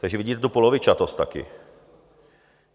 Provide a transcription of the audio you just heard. Takže vidíte tu polovičatost taky.